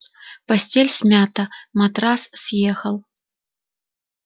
постель смята матрас съехал